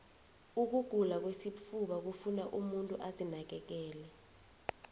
ukugula kwesifuba kufuna umuntu azinakekele